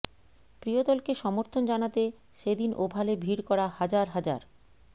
প্রিয় দলকে সমর্থন জানাতে সেদিন ওভালে ভিড় করা হাজার হাজার